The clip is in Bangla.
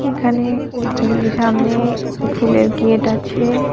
এখানে সামনে ফুলের গেট আছে।